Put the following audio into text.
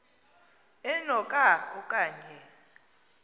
eno ka okanye